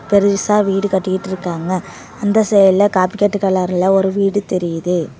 பெருசா வீடு கட்டிட்டுருக்காங்க அந்த சைடுல காப்பிக்கட்டு கலர்ல ஒரு வீடு தெரியுது.